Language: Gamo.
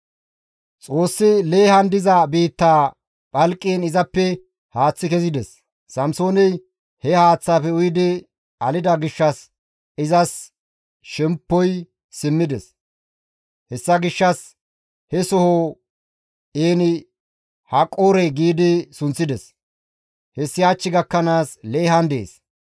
Xoossi Leehan diza biittaa phalqiin izappe haaththi kezides. Samsooney he haaththaafe uyidi alida gishshas izas shemppoy simmides. Hessa gishshas he soho, «En-Haqqore» gi sunththides. Hessi hach gakkanaas Leehan dees.